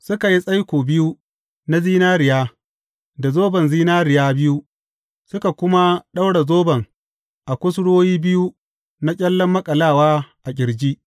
Suka yi tsaiko biyu na zinariya da zoban zinariya biyu, suka kuma ɗaura zoban a kusurwoyi biyu na ƙyallen maƙalawa a ƙirji.